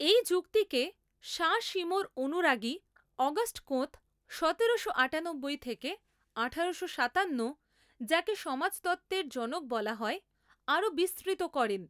এই যুক্তিকে সাঁ সিমোঁর অনুরাগী অগাস্ট কোঁৎ সতেরোশো আটানব্বই থেকে আঠারোশো সাতান্ন যাকে সমাজতত্ত্বের জনক বলা হয় আরো বিস্তৃত করেন।